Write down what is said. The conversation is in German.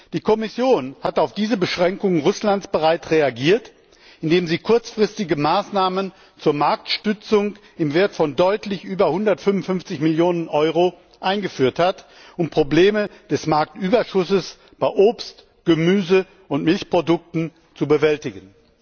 Die Kommission hat auf diese Beschränkungen Russlands bereits reagiert, indem sie kurzfristige Maßnahmen zur Marktstützung im Wert von deutlich über 155 Millionen Euro eingeführt hat, um Probleme des Marktüberschusses bei Obst, Gemüse und Milchprodukten zu bewältigen.